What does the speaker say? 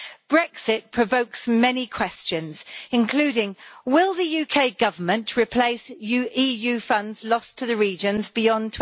Brexit provokes many questions, including whether the UK Government will replace EU funds lost to the regions beyond